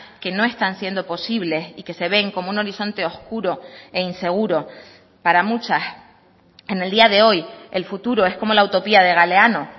que no están siendo posibles y que se ven como un horizonte oscuro e inseguro para muchas en el día de hoy el futuro es como la utopía de galeano